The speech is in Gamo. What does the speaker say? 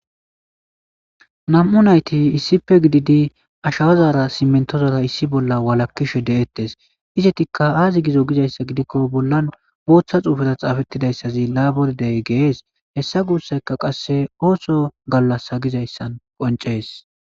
Nam'u nayti isipe gididi ashaazaara simentozora issi bolla walakkishe de'ettes izetikka aazi gizo gizayssa gidikko bollan booththa xuufeta xaafettidayssazi laabordey gees hessa guussayka qasse ooso gallasa gizayssan qoncees.